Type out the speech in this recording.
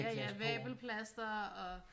Ja ja vabelplaster og